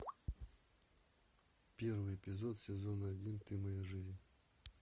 первый эпизод сезон один ты моя жизнь